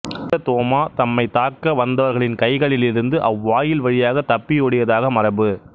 புனித தோமா தம்மைத் தாக்க வந்தவர்களின் கைகளிலிருந்து அவ்வாயில் வழியாகத் தப்பியோடியதாக மரபு